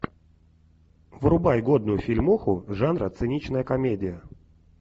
врубай годную фильмуху жанра циничная комедия